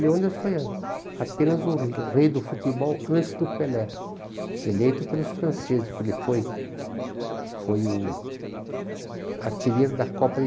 Leônidas foi a apenas o rei do futebol antes do Pelé, eleito pelos franceses, porque ele foi foi o artilheiro da Copa